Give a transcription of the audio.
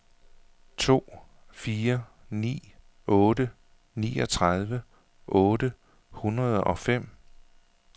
to fire ni otte niogtredive otte hundrede og fem